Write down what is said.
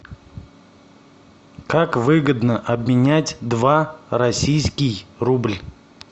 как выгодно обменять два российский рубль